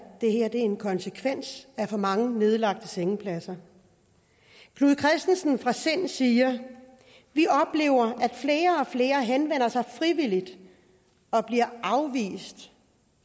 det her er en konsekvens af for mange nedlagte sengepladser knud kristensen fra sind siger vi oplever at flere og flere henvender sig frivilligt og bliver afvist